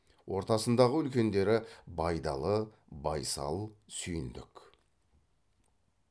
ортасындағы үлкендері байдалы байсал сүйіндік